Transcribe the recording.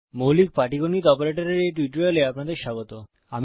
মৌলিক পাটীগণিত অপারেটরের এই টিউটোরিয়ালে আপনাদের স্বাগত